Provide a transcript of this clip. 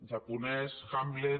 japonès hamlet